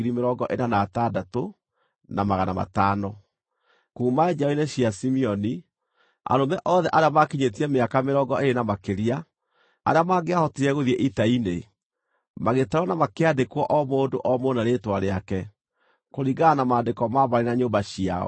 Kuuma njiaro-inĩ cia Simeoni: Arũme othe arĩa maakinyĩtie mĩaka mĩrongo ĩĩrĩ na makĩria, arĩa mangĩahotire gũthiĩ ita-inĩ, magĩtarwo na makĩandĩkwo o mũndũ o mũndũ na rĩĩtwa rĩake, kũringana na maandĩko ma mbarĩ na nyũmba ciao.